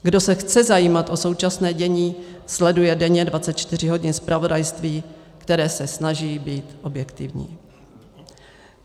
Kdo se chce zajímat o současné dění, sleduje denně 24 hodin zpravodajství, které se snaží být objektivní.